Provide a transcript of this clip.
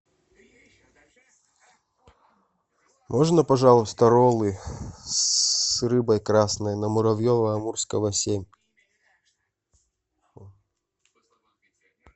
можно пожалуйста роллы с рыбой красной на муравьева амурского семь